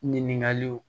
Ɲininkaliw